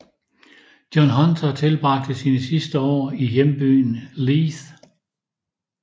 John Hunter tilbragte sine sidste år i hjembyen Leith